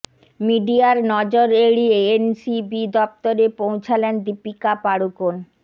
মিডিয়ার নজর এড়িয়ে এন সি বি দফতরে পৌঁছালেন দীপিকা পাড়ুকোন